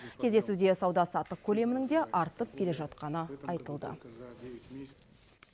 кездесуде сауда саттық көлемінің де артып келе жатқаны айтылды